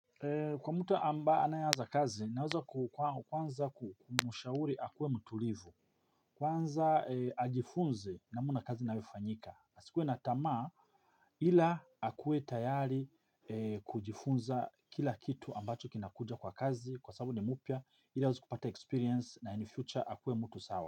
Kwa mtu ambaye anayeanza kazi naweza kuwa kwanza kumshauri akuwe mtulivu. Kwanza ajifunze namna kazi inavyofanyika asikue na tamaa ila akuwe tayari kujifunza kila kitu ambacho kinakuja kwa kazi kwa sabu ni mpya ila aweze kupata experience na in future akuwe mtu sawa.